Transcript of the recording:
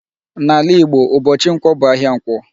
N'ala Igbo ụbọchị Nkwọ bụ ahịa Ǹkwọ.